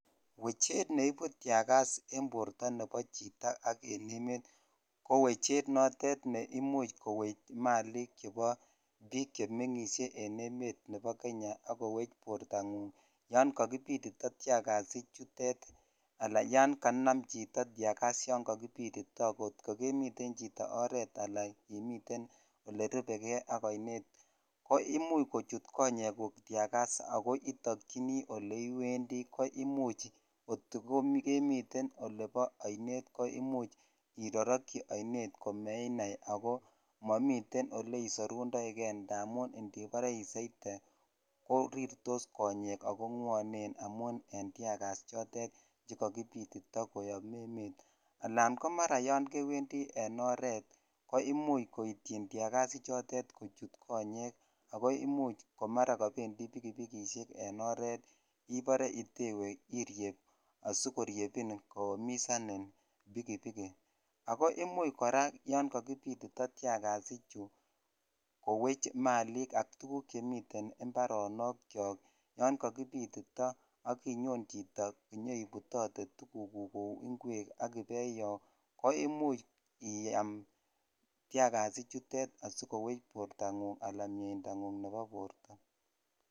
Wchet neibu tiagas en borto nebo chito ak en emet ko wechet neimuch kowech malik chebo biik chemeng'ishe en emet nebo kenya ak kowech bortang'ung yoon kokibitito tiagas ichutet alaan yoon konam chito tiagas yoon kokibitito kot ko kemi chito oreet alaan imiten olerubekee ak oinet ko imuch kochut konyekuk tiagas ak ko itokyini oleiwendi ko imuch kotikemiten olebo oinet koimuch irorokyi oinet komeinai ak ko momiten oleisorundoike amun ndibore isoite ko rirtos konyek ak ko ng'wonen amun en tiagas chotet chekokibitito koyom emet alaan ko mara yoon kewendi en oreet ko imuch koityin tiagas ichotet kochut konyek ak ko imuch komara kobendi pikipikishek en oreet iboree itewe irieb asikoriebin koumisanin pikipiki, ak ko imuch kora yoon kokibitito tiagas ichuu kowech malik ak tukuk chemiten imbaronokiok yoon kokibitito ak inyon chito inyoibutote tukukuk kouu ing'wek ak ibeyoo ko imuch iaam tiagas ichutet asikowech borto ng'ung alaan mieinda ng'ung nebo borto.